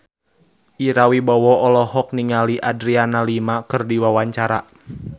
Ira Wibowo olohok ningali Adriana Lima keur diwawancara